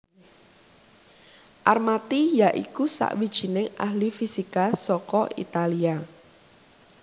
Armati ya iku sawijining ahli fisika saka Italia